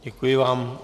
Děkuji vám.